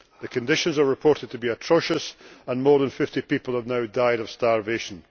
The conditions are reported to be atrocious and more than 50 people have now died of starvation.